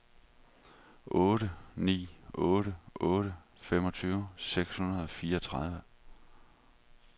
otte ni otte otte femogtyve seks hundrede og fireogtredive